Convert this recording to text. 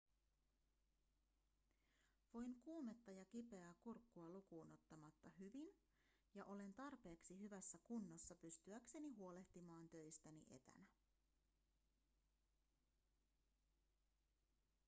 voin kuumetta ja kipeää kurkkua lukuun ottamatta hyvin ja olen tarpeeksi hyvässä kunnossa pystyäkseni huolehtimaan töistäni etänä